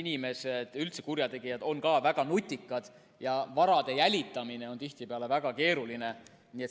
inimesed, üldse kurjategijad, on väga nutikad ja vara jälitamine on tihtipeale väga keeruline.